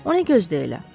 Onu gözdəyə elə?